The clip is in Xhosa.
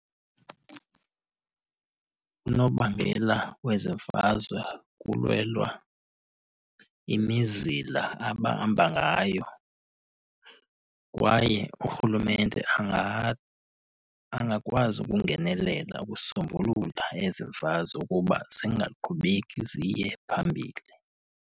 Unobangela wezemfazwe kulwelwa imizila abahamba ngayo. Kwaye urhulumente angakwazi ukungenelela ukusombulula ezi zazo ukuba zingaqhubeki ziye phambili.